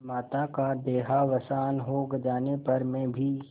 माता का देहावसान हो जाने पर मैं भी